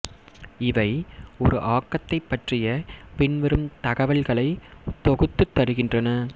இவை ஒரு ஆக்கத்தைப் பற்றிய பின்வரும் தகவல்களை தொகுத்துத் தருகின்றன